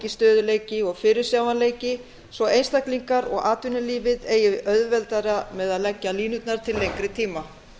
stöðugleiki og fyrirsjáanleiki svo einstaklingar og atvinnulífið eigi auðveldara með að leggja línurnar til lengri tíma